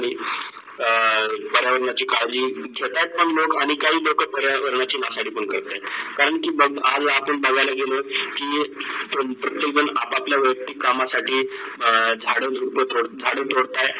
पर्यावरणाची काडजी जातात पण लोक आणी काही लोक पर्यावरणाची नासाडी पण करत करण की बगत आज आपण गावाला गेलोत की प्रत्येक जन अप - आपल्या वयक्ती कामा साठी झाड झाड - झुपे तोडता आहेत.